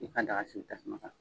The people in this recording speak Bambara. I ka daga sigin tasuma kan.